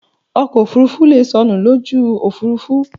Ọkọ̀ òfurufú leè sọnù lójú òfúrufú